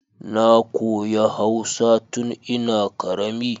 Na koyi hausa tun ina karama